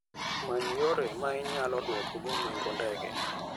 Many yore ma inyalo duokgo nengo ndege.